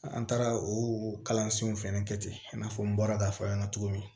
An taara o kalansow fɛnɛ kɛ ten i n'a fɔ n bɔra k'a fɔ a ɲɛna cogo min